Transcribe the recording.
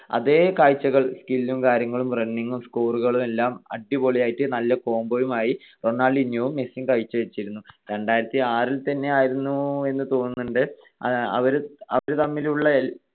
അതെ കാഴ്ചകൾ skill ഉം കാര്യങ്ങളും running ഉം score കളും എല്ലാം അടിപൊളിയായിട്ട് നല്ല combo ഉം ആയിട്ട് റൊണാൾഡീന്യോയും മെസ്സിയും കാഴ്ച്ച വെച്ചിരുന്നു. രണ്ടായിരത്തിആറിൽ തന്നെയായിരുന്നു എന്ന് തോന്നുന്നുണ്ട് അവര് തമ്മിലുള്ള